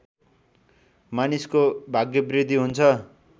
मानिसको भाग्यवृद्धि हुन्छ